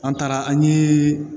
An taara an ye